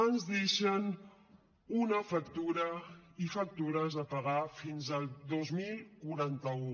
ens deixen una factura i factures a pagar fins al dos mil quaranta u